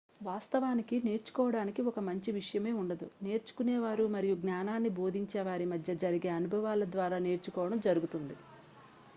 వాస్తవానికి నేర్చుకోవడానికి ఒక మంచి విషయమే ఉండదు నేర్చుకునేవారు మరియు జ్ఞానాన్ని బోధించే వారి మధ్య జరిగే అనుభవాల ద్వారా నేర్చుకోవడం జరుగుతుంది